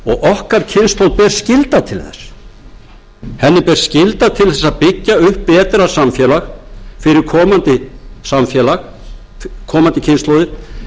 okkar kynslóð ber skylda til þess henni ber skylda til þess að byggja upp